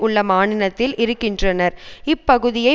உள்ள மாநிலத்தில் இருக்கின்றனர் இப்பகுதியை